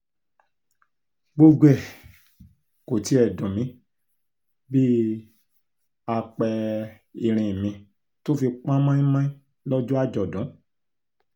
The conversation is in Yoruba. gbogbo ẹ̀ kò tiẹ̀ dùn mí bíi àpẹ-ìrìn mi tó fi pọ́n mọ́ínmọ́ín lọ́jọ́ àjọ̀dún